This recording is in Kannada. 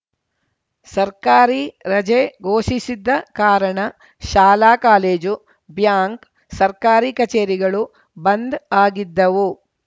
ಸರ್ಕಾರಿ ರಜೆ ಘೋಷಿಸಿದ್ದ ಕಾರಣ ಶಾಲಾ ಕಾಲೇಜು ಬ್ಯಾಂಕ್‌ ಸರ್ಕಾರಿ ಕಚೇರಿಗಳು ಬಂದ್‌ ಆಗಿದ್ದವು